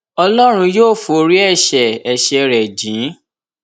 ọlọrun yóò forí ẹṣẹ ẹṣẹ rẹ jìn ín